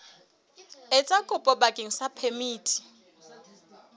etsa kopo bakeng sa phemiti